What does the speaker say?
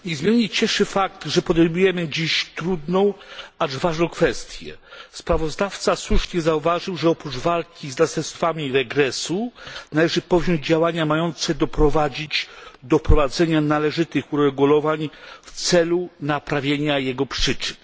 Panie Przewodniczący! Niezmiernie cieszy fakt, że podejmujemy dziś trudną, acz ważną kwestię. Sprawozdawca słusznie zauważył, że oprócz walki z następstwami regresu należy podjąć działania mające doprowadzić do wprowadzenia należytych uregulowań w celu naprawienia jego przyczyn.